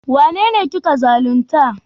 Wanene kika zalunta?